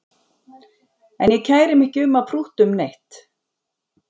En ég kæri mig ekki um að prútta um neitt